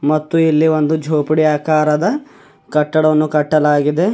ಮತ್ತು ಇಲ್ಲಿ ಒಂದು ಜೋಪಡಿ ಆಕಾರದ ಕಟ್ಟಡವನ್ನು ಕಟ್ಟಲಾಗಿದೆ.